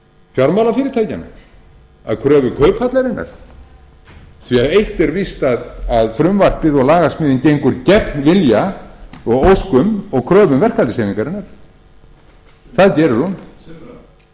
fjármálafyrirtækjanna að kröfu kauphallarinnar eitt er víst að frumvarpið og lagasmíðin gengur gegn vilja og óskum og kröfum verkalýðshreyfingarinnar það gerir